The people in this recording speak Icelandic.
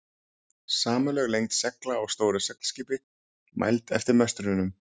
Samanlögð lengd segla á stóru seglskipi, mæld eftir möstrunum.